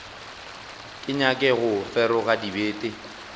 ke nyake go feroga dibete